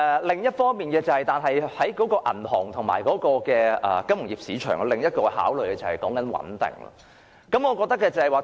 另一方面，銀行和金融業市場的另一個考慮點，就是穩定。